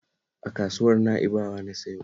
A kasuwar Na'ibawa na sayo